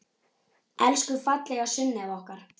Elsku fallega Sunneva okkar.